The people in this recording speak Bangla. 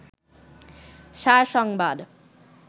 সার সংবাদ